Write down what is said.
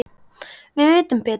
Við vitum betur